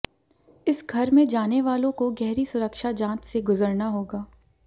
इस घर में जानेवालों को गहरी सुरक्षा जांच से गुजरना होगा